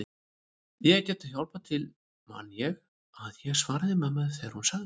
Ég gæti hjálpað til man ég að ég svaraði mömmu þegar hún sagði